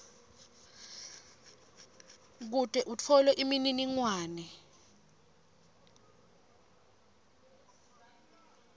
kute utfole imininingwane